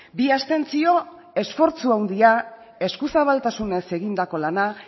bi abstentzio esfortzu handia eskuzabaltasunez egindako lana